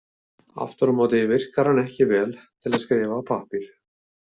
Aftur á móti virkaði hann ekki vel til að skrifa á pappír.